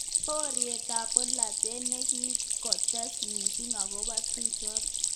Boriet ab bolotet nikikotes missing akobo tukjotok.